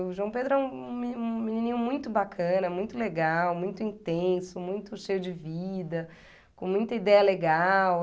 O João Pedro é um me menininho muito bacana, muito legal, muito intenso, muito cheio de vida, com muita ideia legal.